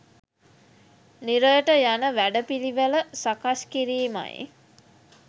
නිරයට යන වැඩපිළිවෙළ සකස් කිරීමයි.